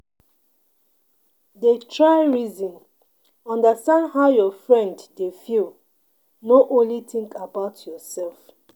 Dey try reason understand how your friend dey feel, no only think about yourself.